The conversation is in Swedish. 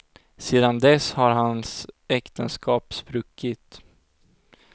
Sedan dess har hans äktenskap spruckit.